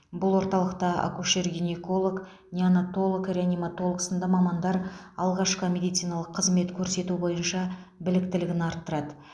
бұл орталықта акушер гинеколог неонатолог реаниматолог сынды мамандар алғашқы медициналық қызмет көрсету бойынша біліктілігін арттырады